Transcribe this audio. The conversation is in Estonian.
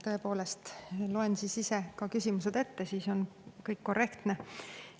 Tõepoolest loen ise küsimused ette, siis on kõik korrektne.